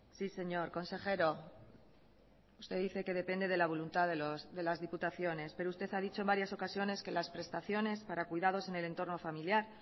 sí señor consejero usted dice que depende de la voluntad de las diputaciones pero usted ha dicho en varias ocasiones que las prestaciones para cuidados en el entorno familiar